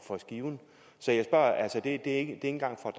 for skiven så det er ikke engang for